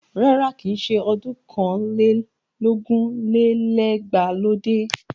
Rárá, kìí ṣe ọdún ọ̀kàn lé lógún lé lẹ́gbàá ló dé.